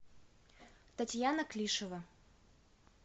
татьяна клишева